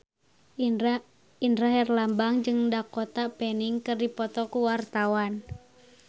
Indra Herlambang jeung Dakota Fanning keur dipoto ku wartawan